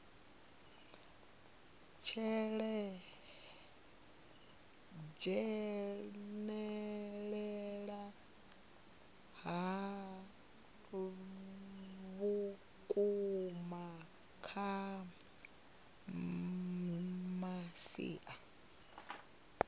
dzhenelela ha vhukuma kha masia